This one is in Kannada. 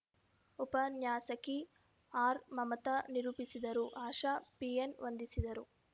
ಉಪನ್ಯಾಸಕಿ ಆರ್‌ಮಮತ ನಿರೂಪಿಸಿದರು ಆಶಾ ಪಿಎನ್‌ವಂದಿಸಿದರು